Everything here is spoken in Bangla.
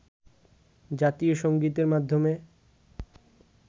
জাতীয় সংগীতের মাধ্যমে